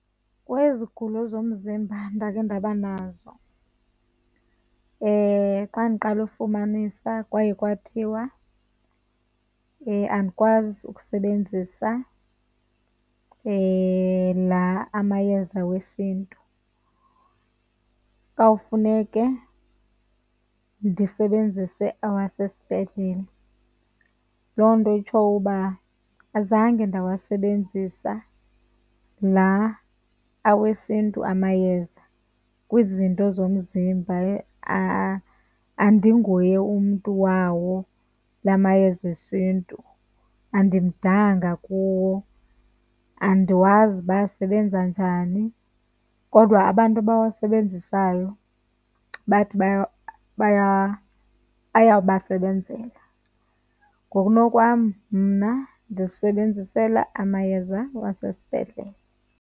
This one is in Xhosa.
Kwezi zigulo zomzimba endakhe ndaba nazo, xa ndiqala ufumanisa kwaye kwathiwa andikwazi ukusebenzisa la amayeza wesiNtu, kwakufuneke ndisebenzise awasesibhedlele. Loo nto itsho uba azange ndawasebenzisa la awesiNtu amayeza kwizinto zomzimba. Andinguye umntu wawo la mayeza esiNtu, andimdanga kuwo, andiwazi uba asebenza njani. Kodwa abantu abawasebenzisayo bathi ayabasebenzela. Ngokunokwam mna ndizisebenzisela amayeza wasesibhedlele.